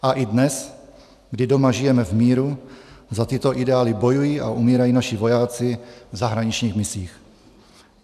A i dnes, kdy doma žijeme v míru, za tyto ideály bojují a umírají naši vojáci v zahraničních misích.